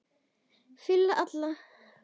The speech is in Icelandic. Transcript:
Philip Allan.